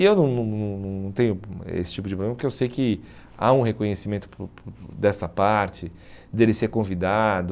E eu não não não não não tenho esse tipo de problema porque eu sei que há um reconhecimento para o para o dessa parte, dele ser convidado.